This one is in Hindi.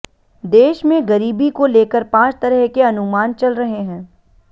देश में गरीबी को लेकर पांच तरह के अनुमान चल रहे हैं